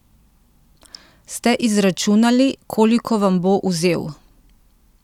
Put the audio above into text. Ste izračunali, koliko vam bo vzel?